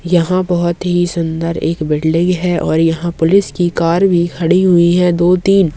यहाँ बहुत ही सुंदर एक बिल्डिंग है और यहाँ पुलिस की कार भी खड़ी हुई है दो तीन।